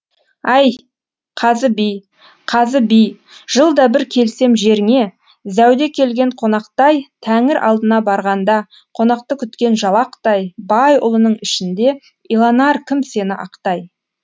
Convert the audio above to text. ай қазы би қазы би жылда бір келсем жеріңе зәуде келген қонақтай тәңір алдына барғанда қонақты күткен жалақтай байұлының ішінде иланар кім сені ақтай